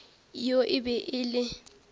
yoo e be e le